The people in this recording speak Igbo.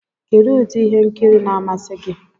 Kedụ ụdị ihe nkiri na-amasị gị?